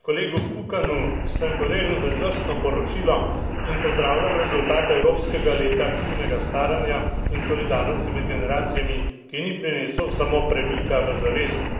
Kolegu Kukanu sem hvaležen za izvrstno poročilo in pozdravljam rezultate evropskega leta aktivnega staranja in solidarnosti med generacijami, ki ni prinesel samo premika v zavesti.